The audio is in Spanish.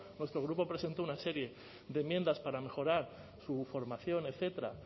nuestro grupo presentó una serie de enmiendas para mejorar su formación etcétera